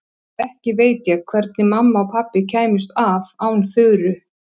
Ekki veit ég hvernig mamma og pabbi kæmust af án Þuru.